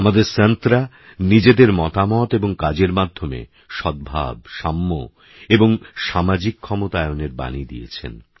আমাদেরসন্তরানিজেদেরমতামতএবংকাজেরমাধ্যমেসদ্ভাব সাম্যএবংসামাজিকক্ষমতায়নেরবাণীদিয়েছেন